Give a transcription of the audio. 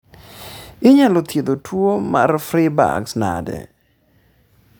inyal thiedh tuo marv Freiberg's nane?